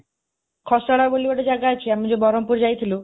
ଖସଡ଼ା ବୋଲି ଗୋଟେ ଜାଗା ଅଛି, ଆମେ ଯୋଉ ବରହମପୁର ଯାଇଥିଲୁ,